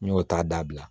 N y'o ta dabila